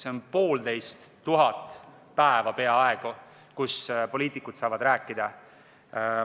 See on peaaegu poolteist tuhat päeva, mille jooksul poliitikud saavad rääkida.